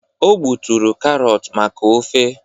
o gbuturu karọt maka ofe